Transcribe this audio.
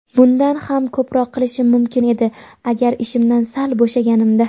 Bundan ham ko‘proq qilishim mumkin edi agar ishimdan sal bo‘shaganimda.